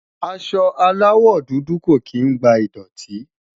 aṣọ alawọ dudu kò kín gba idọti